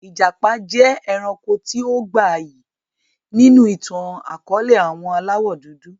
Ìjàpá jẹ́ ẹranko tí ó gbayyi ni inú ìtàn akọ̀ọ̀lẹ àwọn aláwọ dúdú